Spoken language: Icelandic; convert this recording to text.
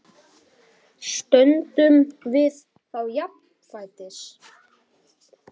Stöndum við þá jafnfætis?